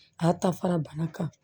A ta fara bana kan